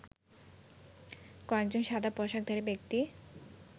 কয়েকজন সাদা পোশাকধারী ব্যক্তি